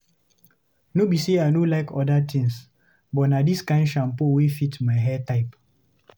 No be sey I no like oda things, but na dis kind shampoo wey fit my hair type.